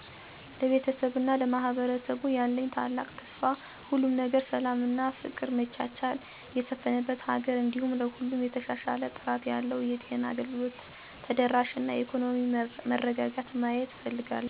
ለቤተሰቤ እና ለማህበረሰቡ ያለኝ ታላቅ ተስፋ ሁሉም ነገር ሰላም እና ፍቅር መቻቻል የሰፍነበት ሀገር እንዲሁም ለሁሉም የተሻሻለ ጥራት ያለው የጤና አገልግሎት ተደራሽነት እና የኢኮኖሚ መረጋጋትን ማየት እፍልጋለሁ። በሁሉም አካባቢዎች እና ቤተሰቦች ያለ ፍርሃት ወይም ድህነት ደህንንታችው ተጠብቆ እየኖሩ ማየት። ነገጥሩ ላወጥ መኖር አሰፍላጊ ነዉ ሁሉም ነገር ነገ የተሻለ ለማድረግ ህብረት እና አንድነት በጣም አሰፍላጊ ነው ማለትም ማህበራዊ ትሰሰርን ጥሩ እንዲሆን ያደርጋል።